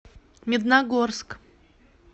медногорск